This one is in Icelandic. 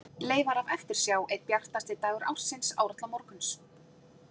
Leifar af eftirsjá Einn bjartasti dagur ársins, árla morguns.